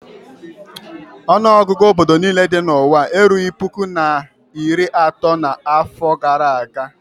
Ọnụọgụgụ obodo niile dị n'ụwa erughị puku na iri atọ n'afọ gara aga.